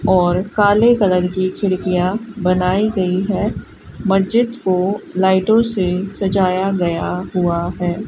और काले कलर की खिड़कियां बनाई गयी है मस्जिद को लाइटों से सजाया गया हुआ है।